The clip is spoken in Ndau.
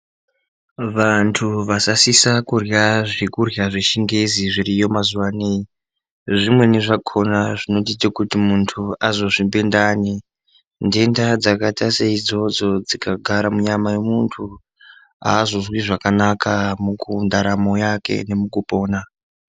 Vantu vasasisa kurya zvechingezi yemazuva anawa zvimweni zvakona muntu anozozvimba ndani ngenda dzakaita seidzodzo dzikagara munyama yemuntu azozwi zvakanaka mundaramo yake nemukupona.